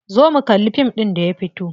Zo mu kalli fim ɗin da ya fito.